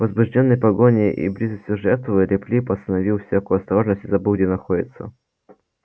возбуждённый погоней и близостью жертвы лип лип оставил всякую осторожность и забыл где находится